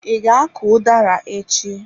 I ga-akụ udara echi?